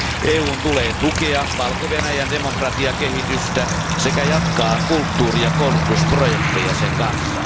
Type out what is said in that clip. EUn tulee tukea Valko Venäjän demokratiakehitystä sekä jatkaa kulttuuri ja koulutusprojekteja sen kanssa.